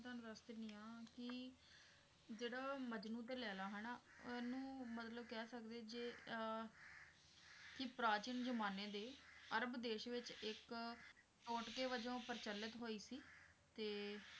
ਤੁਹਾਨੂੰ ਦੱਸ ਦੇਣੀ ਆ ਕੀ ਜਿਹੜਾ ਮਜਨੂੰ ਤੇ ਲੈਲਾ ਹਨਾਂ ਉਹਨੂੰ ਮਤਲਬ ਕਹਿ ਸਕਦੇ ਜੇ ਅਹ ਪ੍ਰਾਚੀਨ ਜ਼ਮਾਨੇ ਦੇ ਅਰਬ ਦੇਸ਼ ਵਿੱਚ ਇੱਕ ਟੋਂਟਕੇ ਵਜੋਂ ਪ੍ਰਚਲਿਤ ਹੋਈ ਸੀ ਤੇ,